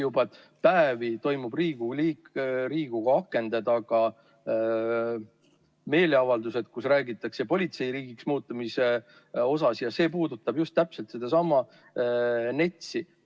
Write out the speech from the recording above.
Juba päevi toimuvad Riigikogu akende taga meeleavaldused, kus räägitakse politseiriigiks muutumisest, ja see puudutab just täpselt sedasama NETS-i.